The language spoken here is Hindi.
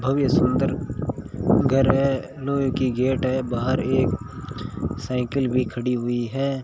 भव्य सुंदर घर है लोहे की गेट है बाहर एक साइकिल भी खड़ी हुई है।